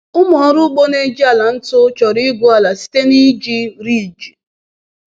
Ụmụ ọrụ ugbo na-eji ala ntu chọrọ igwu ala site n’iji riiji.